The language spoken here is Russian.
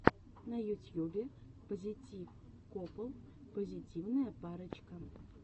на ютьюбе пазитив копл позитивная парочка